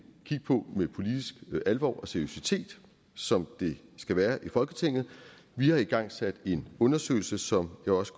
kigge på med politisk alvor og seriøsitet som det skal være i folketinget vi har igangsat en undersøgelse som jeg også